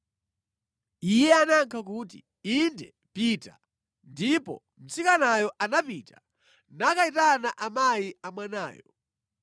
Iye anayankha kuti, “Inde, pita.” Ndipo mtsikanayo anapita nakayitana amayi a mwanayo.